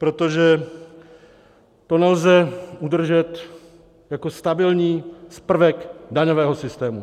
Protože to nelze udržet jako stabilní prvek daňového systému.